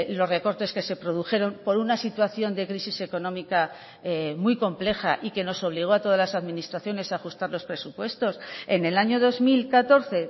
los recortes que se produjeron por una situación de crisis económica muy compleja y que nos obligó a todas las administraciones a ajustar los presupuestos en el año dos mil catorce